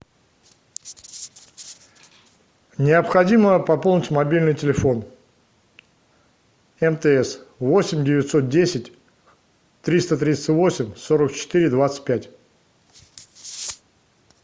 необходимо пополнить мобильный телефон мтс восемь девятьсот десять триста тридцать восемь сорок четыре двадцать пять